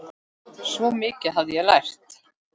Svo mikið hafði ég lært.